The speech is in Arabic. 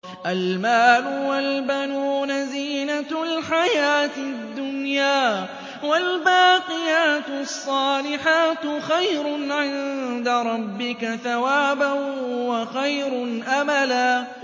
الْمَالُ وَالْبَنُونَ زِينَةُ الْحَيَاةِ الدُّنْيَا ۖ وَالْبَاقِيَاتُ الصَّالِحَاتُ خَيْرٌ عِندَ رَبِّكَ ثَوَابًا وَخَيْرٌ أَمَلًا